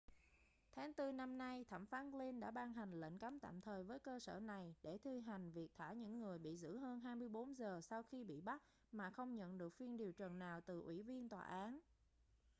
tháng tư năm nay thẩm phán glynn đã ban hành lệnh cấm tạm thời với cơ sở này để thi hành việc thả những người bị giữ hơn 24 giờ sau khi bị bắt mà không nhận được phiên điều trần nào từ ủy viên tòa án